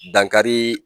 Dankari